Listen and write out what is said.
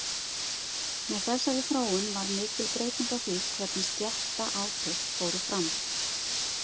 Með þessari þróun varð mikil breyting á því hvernig stéttaátök fóru fram.